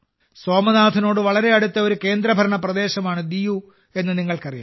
സോമനാഥിനോട് വളരെ അടുത്തുള്ള ഒരു കേന്ദ്രഭരണ പ്രദേശമാണ് ദിയു എന്ന് നിങ്ങൾക്കറിയാം